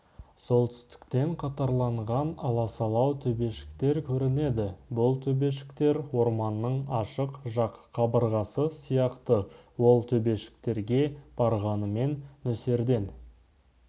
солтүстіктен қатарланған аласалау төбешіктер көрінеді бұл төбешіктер орманның ашық жақ қабырғасы сияқты ол төбешіктерге барғанымен нөсерден